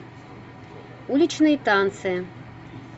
уличные танцы